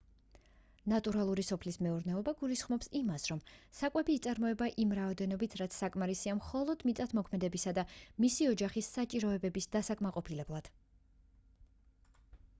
ნატურალური სოფლის მეურნეობა გულისხმობს იმას რომ საკვები იწარმოება იმ რაოდენობით რაც საკმარისია მხოლოდ მიწათმოქმედისა და მისი ოჯახის საჭიროებების დასაკმაყოფილებლად